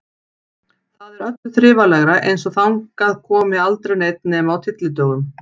Þar er öllu þrifalegra, eins og þangað komi aldrei neinn nema á tyllidögum.